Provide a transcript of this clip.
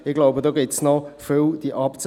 Ich glaube, da gibt es noch vieles;